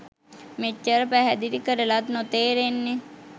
මෙච්චර පැහැදිලි කරලත් නොතේරෙන්නෙ